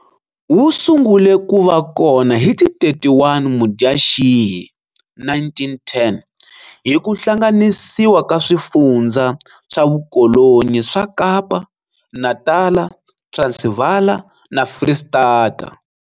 Wu sungule ku va kona hi ti 31 Mudyaxihi 1910 hi ku hlanganisiwa ka swifundzha swavukolonyi swa Kapa, Natala, Transivala na Fristata.